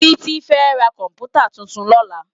Titi fè rá kòmpútá tútún lòlá